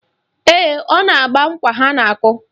Ee, ọ na-agba nkwa ha na-akụ